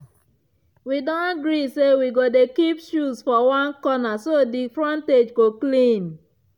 we don gree say we go dey keep shoes for one corner so di frontage go clean.